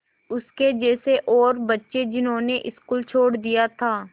उसके जैसे और बच्चे जिन्होंने स्कूल छोड़ दिया था